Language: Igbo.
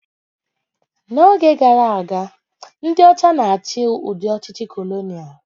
N'oge gara aga, ndị ọcha na-achị udị ọchịchị kolonia